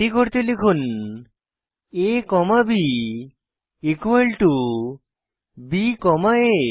এটি করতে লিখুন a comma b equal to b comma a